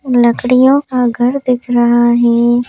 लकड़ियों का घर दिख रहा है।